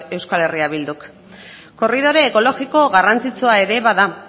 euskal herria bilduk korridore ekologiko garrantzitsua ere bada